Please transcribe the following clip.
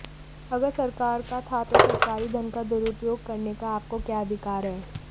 अगर सरकार का था तो सरकारी धन का दुरुपयोग करने का आपको क्या अधिकार है